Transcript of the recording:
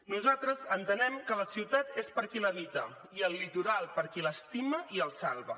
nosaltres entenem que la ciutat és per a qui l’habita i el litoral per a qui l’estima i el salva